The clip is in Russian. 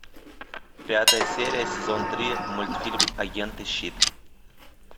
пятая серия сезон три мультфильм агенты щит